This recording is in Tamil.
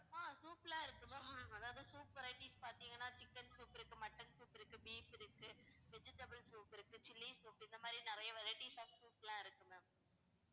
ஆஹ் soup லாம் இருக்கு ma'am அதாவது soup varieties பாத்தீங்கன்னா chicken soup இருக்கு mutton soup இருக்கு, beef இருக்கு, vegetable soup இருக்கு, chilli soup இருக்கு, இந்த மாதிரி நிறைய varieties of soup லாம் இருக்கு ma'am